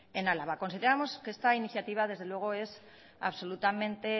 en álava consideramos que esta iniciativa desde luego es absolutamente